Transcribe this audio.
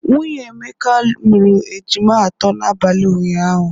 Nwunye Emeka mụrụ ejima atọ n'abalị ụnyaahụ.